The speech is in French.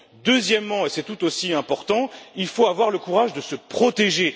Deuxièmement, et c'est tout aussi important, il faut avoir le courage de se protéger.